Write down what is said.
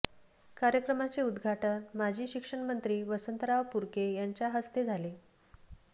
कार्यक्रमाचे उद्घाटन माजी शिक्षण मंत्री वसंतराव पुरके यांच्याहस्ते झाले